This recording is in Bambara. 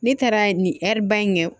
Ne taara nin ba in kɛ